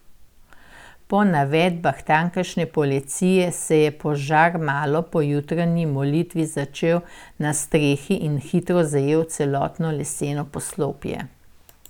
Po navedbah tamkajšnje policije se je požar malo po jutranji molitvi začel na strehi in hitro zajel celotno leseno poslopje.